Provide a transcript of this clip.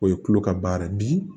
O ye tulo ka baara ye bi